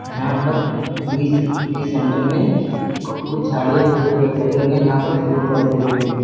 यहां पर बीस बीस सेंटर में कुछ झाड़ियां और छोटे छोटे पेड़ पौधे लगे हैं जहां पर फूल पौधे उगे हुए हैं।